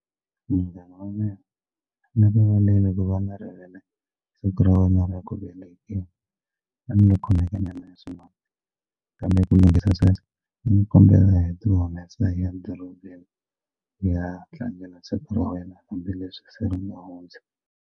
Munghana wa mina ni rivaleli ku va na rivele siku ra wena ra ku velekiwa a ni lo khomeka nyana hi swin'wana kambe ku lunghisa sweswo ni kombela hi ti humesa hi ya dorobeni hi ya tlangela siku ra wena Hambileswi se ri nga hundza.